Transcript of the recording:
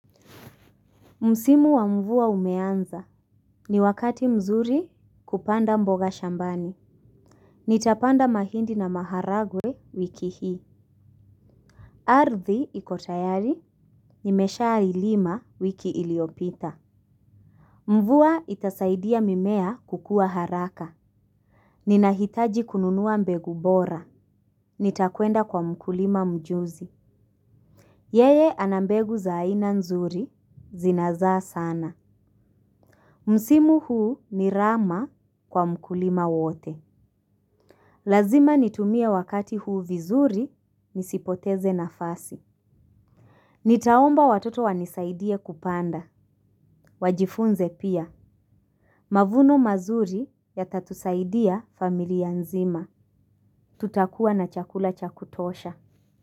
Msimu wa mvuwa umeanza. Ni wakati mzuri kupanda mboga shambani. Nitapanda mahindi na maharagwe wiki hii. Ardhi ikotayari nimesha ilima wiki iliyopita. Mvuwa itasaidia mimea kukuwa haraka. Ninahitaji kununuwa mbegu bora. Nitakuenda kwa mkulima mjuzi. Yeye ana mbegu za aina nzuri zinazaa sana. Msimu huu ni rama kwa mkulima wote. Lazima nitumie wakati huu vizuri nisipoteze nafasi. Nitaomba watoto wanisaidie kupanda. Wajifunze pia. Mavuno mazuri yata tusaidiya familiya nzima. Tutakuwa na chakula cha kutosha.